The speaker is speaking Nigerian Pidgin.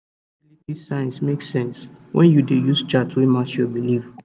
tracking fertility signs makes sense when you dey use chart wey match your belief